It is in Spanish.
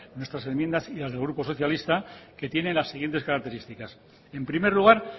nuestras enmiendas y las del grupo socialista que tiene las siguientes características en primer lugar